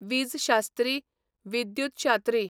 विजशास्त्री, विद्युतशात्री